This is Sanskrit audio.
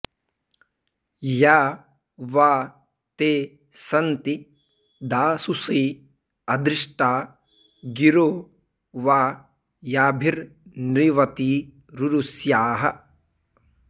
या वा ते सन्ति दाशुषे अधृष्टा गिरो वा याभिर्नृवतीरुरुष्याः